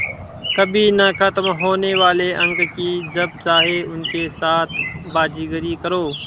कभी न ख़त्म होने वाले अंक कि जब चाहे उनके साथ बाज़ीगरी करो